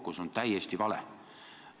Kuidas on lood teie, ministri vaatevinklist?